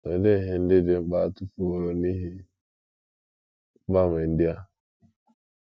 Olee ihe ndị dị mkpa a tụfuworo n’ihi mgbanwe ndị a?